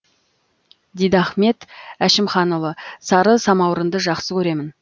дидахмет әшімханұлы сары самаурынды жақсы көремін